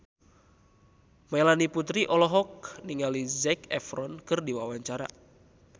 Melanie Putri olohok ningali Zac Efron keur diwawancara